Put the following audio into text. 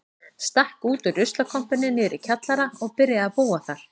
Stakk út úr ruslakompunni niðri í kjallara og byrjaði að búa þar.